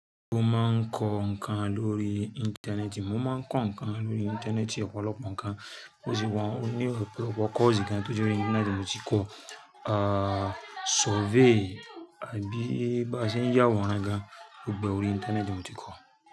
Mo máa ń kọ́ nǹkan lórí Íńtánẹ́ẹ̀tì, mo máa ń kọ́ nǹkan lórí Íńtánẹ́ẹ̀tì ọ̀pọ̀lọpọ̀ nǹkan, bó ti wọ́n ní ọ̀pọ̀lọpọ̀ course kan tó jẹ́ wípé Íńtánẹ́ẹ̀tì mo ti kọ́, ah survey àbí bá ṣe ń yà wọ̀nran gan, gbogbo ẹ orí Íńtánẹ́ẹ̀tì mo ti kọ́